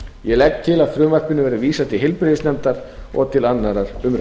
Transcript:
ég legg til að frumvarpinu verði vísað til heilbrigðisnefndar og til annarrar umræðu